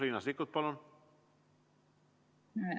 Riina Sikkut, palun!